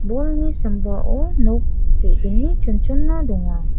bolni sambao nok ge·gni chonchona donga.